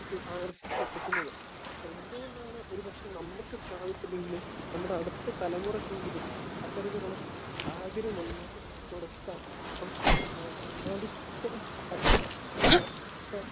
Speaker 1 ആകർഷിച്ചു എടുക്കുന്നത്. അപ്പൊ എന്ത് കൊണ്ടാണ് ഒരു പക്ഷെ നമുക്ക് സാധിച്ചില്ലെങ്കിലും നമ്മുടെ അടുത്ത തലമുറയ്ക്കെങ്കിലും അത്തരത്തിലുള്ള സാഹചര്യം ഉണ്ടാക്കി കൊടുക്കാൻ നമുക്ക് സാധിക്കണം